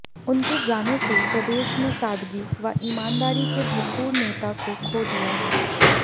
उनके जाने से प्रदेश ने सादगी व ईमानदारी से भरपूर नेता को खो दिया है